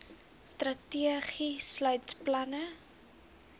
strategie sluit planne